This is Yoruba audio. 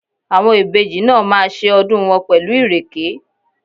Àwọn ìbejì náà máa ṣe ọdún wọn pẹ̀lú Ìrèké?